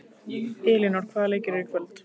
Elínór, hvaða leikir eru í kvöld?